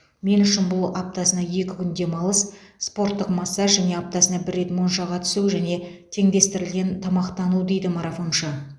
мен үшін бұл аптасына екі күн демалыс спорттық массаж және аптасына бір рет моншаға түсу және теңдестірілген тамақтану дейді марафоншы